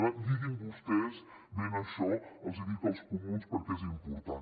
per tant lliguin vostès bé això els ho dic als comuns perquè és important